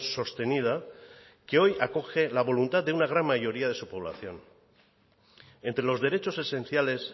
sostenida que hoy acoge la voluntad de una gran mayoría de su población entre los derechos esenciales